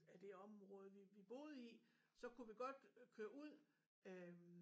Af det område vi vi boede i så kunne vi godt køre ud øh